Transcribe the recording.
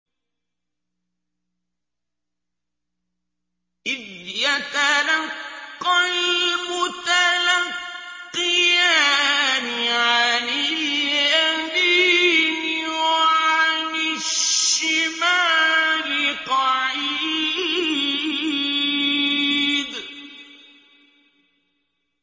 إِذْ يَتَلَقَّى الْمُتَلَقِّيَانِ عَنِ الْيَمِينِ وَعَنِ الشِّمَالِ قَعِيدٌ